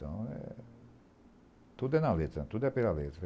Tudo é na letra, tudo é pela letra.